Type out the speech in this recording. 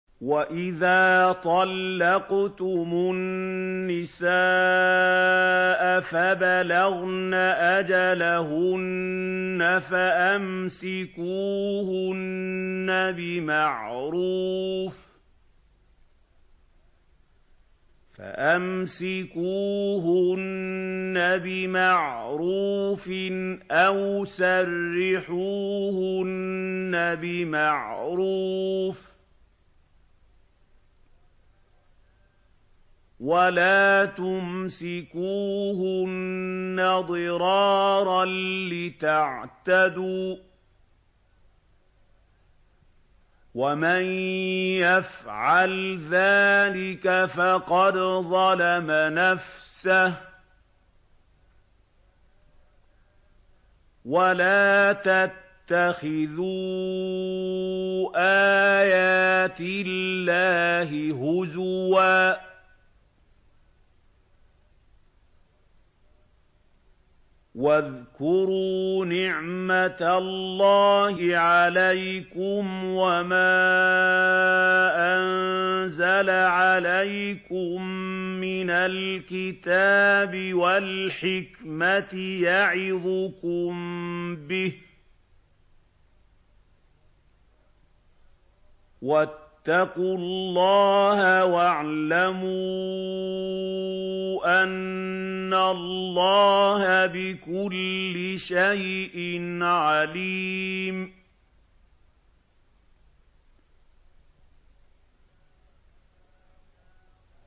وَإِذَا طَلَّقْتُمُ النِّسَاءَ فَبَلَغْنَ أَجَلَهُنَّ فَأَمْسِكُوهُنَّ بِمَعْرُوفٍ أَوْ سَرِّحُوهُنَّ بِمَعْرُوفٍ ۚ وَلَا تُمْسِكُوهُنَّ ضِرَارًا لِّتَعْتَدُوا ۚ وَمَن يَفْعَلْ ذَٰلِكَ فَقَدْ ظَلَمَ نَفْسَهُ ۚ وَلَا تَتَّخِذُوا آيَاتِ اللَّهِ هُزُوًا ۚ وَاذْكُرُوا نِعْمَتَ اللَّهِ عَلَيْكُمْ وَمَا أَنزَلَ عَلَيْكُم مِّنَ الْكِتَابِ وَالْحِكْمَةِ يَعِظُكُم بِهِ ۚ وَاتَّقُوا اللَّهَ وَاعْلَمُوا أَنَّ اللَّهَ بِكُلِّ شَيْءٍ عَلِيمٌ